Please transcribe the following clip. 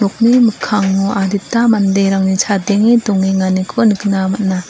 mikkango adita manderangni chadenge dongenganiko nikna man·a.